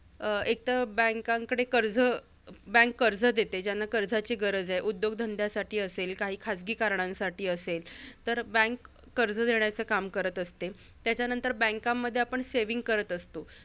अं एकतर banks कडे कर्ज bank कर्ज देते. ज्यांना कर्जाची गरज आहे, उद्योगधंद्यासाठी असेल, काही खाजगी कारणांसाठी असेल तर bank कर्ज देण्याचं काम करत असते. त्याच्यानंतर banks मध्ये आपण saving करत असतो.